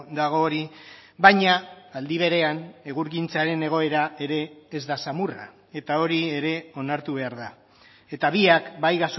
dago hori baina aldi berean egurgintzaren egoera ere ez da samurra eta hori ere onartu behar da eta biak bai